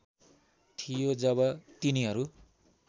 थियो जब तिनीहरू